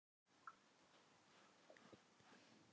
En nú er allt að bjargast.